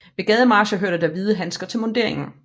Ved gademarcher hørte der hvide handsker til munderingen